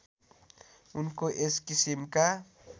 उनको यस किसिमका